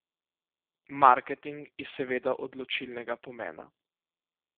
Marketing je seveda odločilnega pomena.